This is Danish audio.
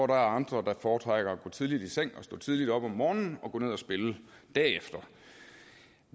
der andre der foretrækker at gå tidligt i seng og stå tidligt op om morgenen og gå ned at spille derefter